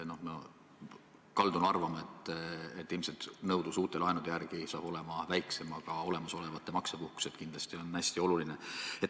Ma kaldun arvama, et ilmselt nõudlus uute laenude järele saab olema väiksem, aga olemasolevate maksepuhkused on kindlasti hästi olulised.